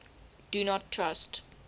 do not trust